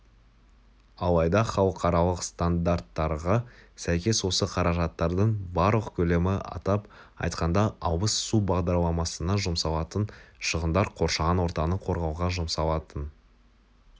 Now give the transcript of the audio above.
алайда халықаралық стандарттарға сәйкес осы қаражаттардың барлық көлемі атап айтқанда ауыз су бағдарламасына жұмсалатын шығындар қоршаған ортаны қорғауға жұмсалатын